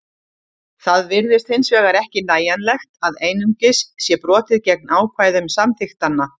Það virðist hins vegar ekki nægjanlegt að einungis sé brotið gegn ákvæðum samþykktanna.